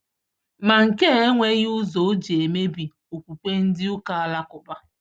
Ma nke a enweghị ụzọ ọ jị emebi okwukwe ndị ụka Alakuba